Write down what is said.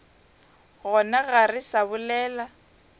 gona ga re sa bolela